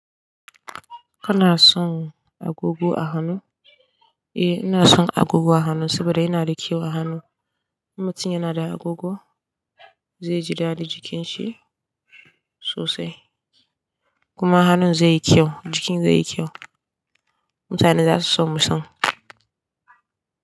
Kana son agogo a hannu? Eh, ina son agogo a hannu saboda yana da kyau a hannu. Mutum yana da agogo zai ji daɗin jikin shi sosai kuma hannun zai yi kyau, jikin zai yi kyau. Mutane za su so mutum.